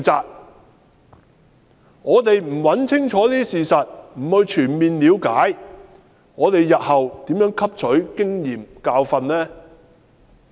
如果我們不清楚找出事實及全面了解事情，試問日後如何汲取經驗和教訓呢？